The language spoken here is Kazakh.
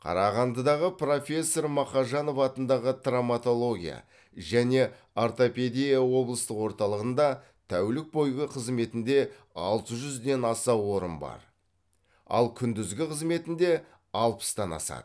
қарағандыдағы профессор мақажанов атындағы травматология және ортопедия облыстық орталығында тәулік бойғы қызметінде алты жүзден аса орын бар ал күндізгі қызметінде алпыстан асады